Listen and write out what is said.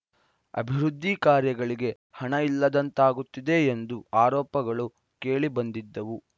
ಅಭಿವೃದ್ಧಿ ಕಾರ್ಯಗಳಿಗೆ ಹಣ ಇಲ್ಲದಂತಾಗುತ್ತಿದೆ ಎಂದು ಆರೋಪಗಳು ಕೇಳಿಬಂದಿದ್ದವು